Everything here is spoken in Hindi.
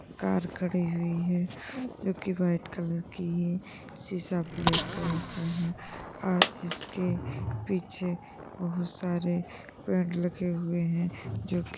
कार खड़ी हुई है जो कि वाइट कलर की है सीसा ब्लैक कलर का है और इसके पीछे बोहोत सारे पेड़ लगे हुए हैं जो कि --